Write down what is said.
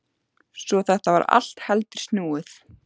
Svo þetta var allt heldur snúið.